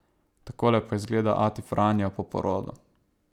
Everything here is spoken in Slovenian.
Takole pa izgleda ati Franjo po porodu.